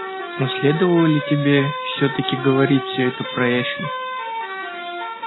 но следовало ли тебе всё-таки говорить все это про эшли